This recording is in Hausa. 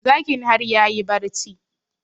Zakin har yayi barci